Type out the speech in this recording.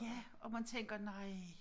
Ja og man tænker nej